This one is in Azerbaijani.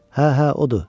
Hə, hə, odur.